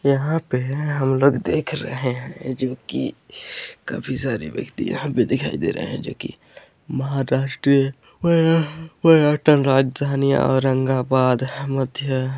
यहां पर हम लोग देख रहे हैं जो की काफी सारे व्यक्ति यहाँ पर दिखाई दे रहे हैं जो की महाराष्ट्र पर्यटन राजधानियां औरंगाबाद मध्य--